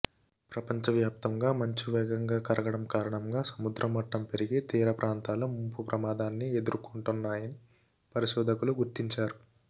ప్రపంచవ్యాప్తంగా మంచు వేగంగా కరగడం కారణంగా సముద్ర మట్టం పెరిగి తీరప్రాంతలు ముంపు ప్రమాదాన్ని ఎదుర్కొంటాయని పరిశోధకులు గుర్తించారు